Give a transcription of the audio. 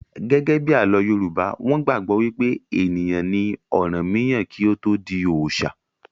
Gẹ́gẹ́bí àlọ́ Yorùbá, wọn gbàgbọ́ wí pé ènìyàn ni ọ̀rànmíyàn kí ó tó di oòṣà